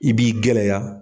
I b'i gɛlɛya.